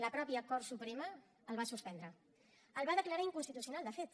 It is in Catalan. la mateixa cort suprema el va suspendre el va declarar inconstitucional de fet